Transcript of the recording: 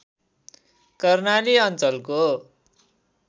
कर्णाली अञ्चलको